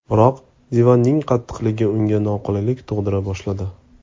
Biroq divanning qattiqligi unga noqulaylik tug‘dira boshladi.